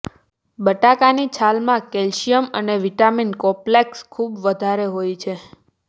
બટાકાની છાલમાં કેલ્શિયમ અને વિટામીન કોપ્લેક્સ ખૂબ વધારે હોય છે